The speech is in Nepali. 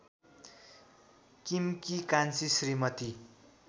किमकी कान्छी श्रीमती